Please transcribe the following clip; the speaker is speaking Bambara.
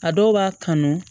A dɔw b'a kanu